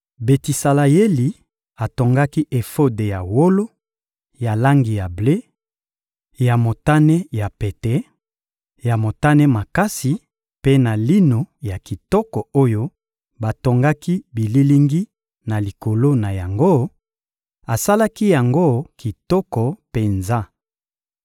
Betisaleyeli atongaki efode ya wolo, ya langi ya ble, ya motane ya pete, ya motane makasi mpe na lino ya kitoko oyo batongaki bililingi na likolo na yango; asalaki yango kitoko penza.